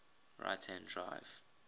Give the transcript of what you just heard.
right hand drive